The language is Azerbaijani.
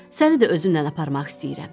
Səni də özümlə aparmaq istəyirəm.